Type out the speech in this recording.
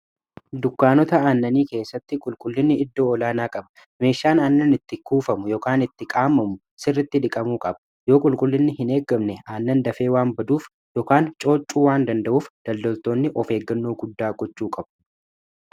dukkaanota aannanii keessatti qulqullinni iddoo olaa naa qaba meeshaan aannan itti kuufamu yokaan itti qaamamu sirritti dhiqamuu qaba yoo qulqullinni hin eeggamne aannan dafee waan baduuf yookaan cooccuu waan danda'uuf daldoltoonni of eeggannoo guddaa gochuu qabu